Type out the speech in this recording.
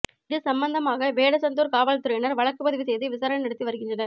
இது சம்பந்தமாக வேடசந்தூர் காவல் துறையினர் வழக்கு பதிவு செய்து விசாரணை நடத்தி வருகின்றனர்